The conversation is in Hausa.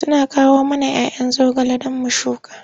Suna kawo mana 'ya 'yan zogale don mu shuka.